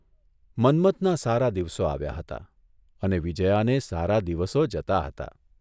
મન્મથના સારા દિવસો આવ્યા હતા અને વિજ્યાને સારા દિવસો જતા હતા.